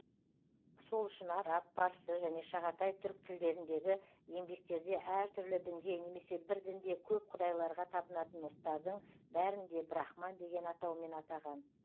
сол үшін араб парсы және шағатай түрк тілдеріндегі еңбектерде әртүрлі дінге немесе бір дінде көп құдайларға табынатын ұлттардың бәрін де брахман деген атаумен атаған